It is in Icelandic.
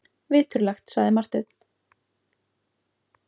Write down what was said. Viturlegt, sagði Marteinn.